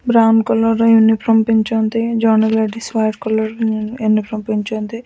Brown collar ର uniform ପିନ୍ଧିଚନ୍ତି ଜଣେ ଲେଡିସ୍ ହ୍ୱାଇଟ୍ କଲର୍ ୟନଫ୍ରମ୍ ପିନ୍ଧିଚନ୍ତି।